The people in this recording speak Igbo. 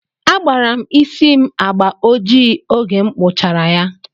Agbara m isí m agbà ojii oge m kpụchara ya.